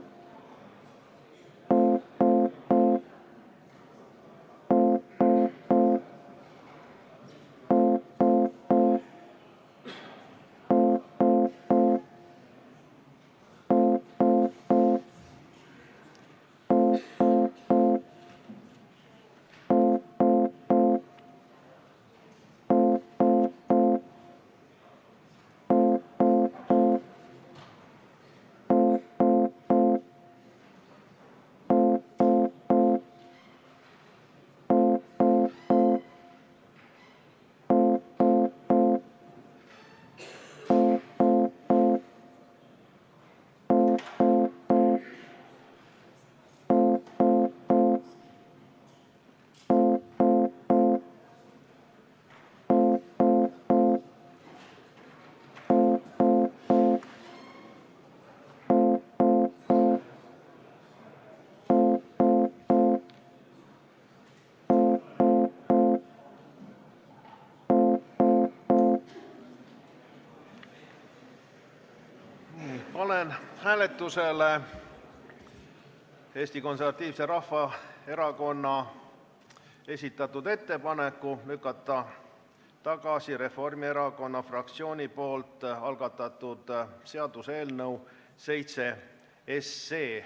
Panen hääletusele Eesti Konservatiivse Rahvaerakonna esitatud ettepaneku lükata tagasi Reformierakonna fraktsiooni algatatud seaduseelnõu nr 7.